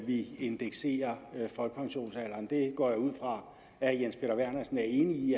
at vi indekserer folkepensionsalderen det går jeg ud fra herre jens peter vernersen er enig i